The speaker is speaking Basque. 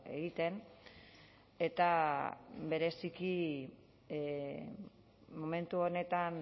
egiten eta bereziki momentu honetan